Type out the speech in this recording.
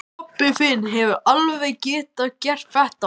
Pabbi þinn hefði alveg getað gert þetta.